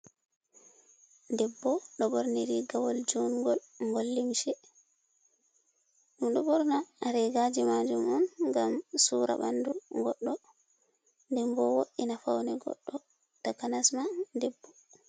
Debbo ɗo ɓorni rigawol jungol gol limse, enɗo ɓorna regaji majum on gam sura ɓandu goɗɗo dembo wo'ina faune goɗɗo takanasma debbo.